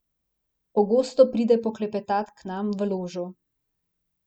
Pogosto pride poklepetat k meni v ložo.